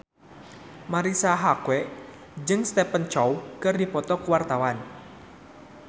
Marisa Haque jeung Stephen Chow keur dipoto ku wartawan